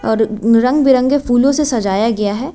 और रंग बिरंगे फूलों से सजाया गया है।